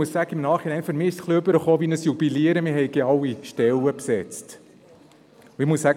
Im Nachhinein empfinde ich sie wie ein Jubilieren darüber, dass man alle Stellen hatte besetzen können.